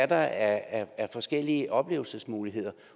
der er af forskellige oplevelsesmuligheder